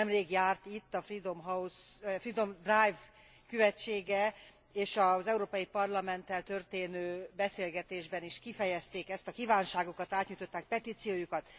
Nemrég járt itt a Freedom Drive követsége, és az Európai Parlamenttel történő beszélgetésben is kifejezték ezt a kívánságukat, átnyújtották petíciójukat.